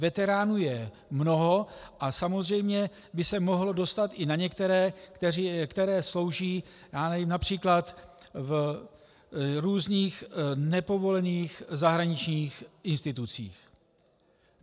Veteránů je mnoho a samozřejmě by se mohlo dostat i na některé, kteří slouží například v různých nepovolených zahraničních institucích.